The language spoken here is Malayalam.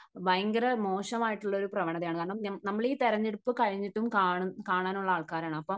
ഭയങ്കര മോശം ആയിട്ടുള്ള ഒരു പ്രവണതയാണ് കാരണം. കമ്പിളി തെരഞ്ഞെടുപ്പ് കഴിഞ്ഞിട്ടും കാണാനുള്ള ആൾക്കാരാണ് അപ്പോൾ